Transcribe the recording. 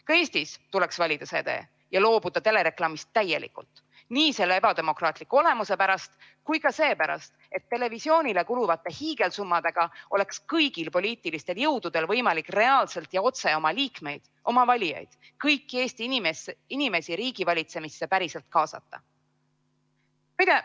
Ka Eestis tuleks valida see tee ja loobuda telereklaamist täielikult nii selle ebademokraatliku olemuse pärast kui ka seepärast, et televisioonile kuluvate hiigelsummadega oleks kõigil poliitilistel jõududel võimalik reaalselt ja otse oma liikmeid, oma valijaid, kõiki Eesti inimesi riigi valitsemisse päriselt kaasata.